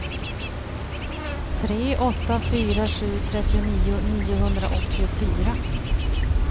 tre åtta fyra sju trettionio niohundraåttiofyra